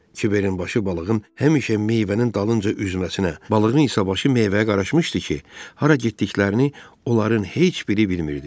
Kiverin başı balığın həmişə meyvənin dalınca üzməsinə, balığın isə başı meyvəyə qarışmışdı ki, hara getdiklərini onların heç biri bilmirdi.